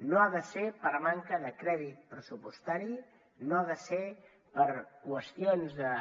no ha de ser per manca de crèdit pressupostari no ha de ser per qüestions de